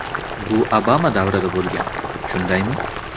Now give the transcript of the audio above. Bu Obama davrida bo‘lgan, shundaymi?